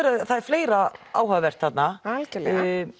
það er fleira áhugavert þarna algjörlega